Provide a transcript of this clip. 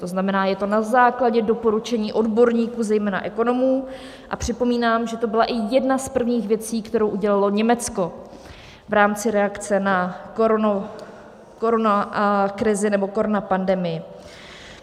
To znamená je to na základě doporučení odborníků, zejména ekonomů, a připomínám, že to byla i jedna z prvních věcí, kterou udělalo Německo v rámci reakce na koronakrizi nebo koronapandemii.